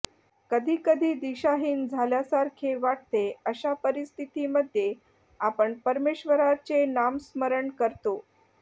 कधी कधी दिशाहीन झाल्यासारखे वाटते अशा परिस्थिती मध्ये आपण परमेश्वराचे नामस्मरण करतो